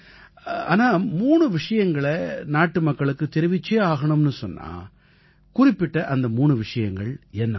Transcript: ஆனா மூணு விஷயங்களை நாட்டுமக்களுக்கு தெரிவிச்சே ஆகணும்னு சொன்னா குறிப்பிட்ட அந்த மூணு விஷயங்கள் என்னவா இருக்கும்